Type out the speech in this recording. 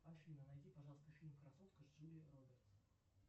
афина найди пожалуйста фильм красотка с джулией робертс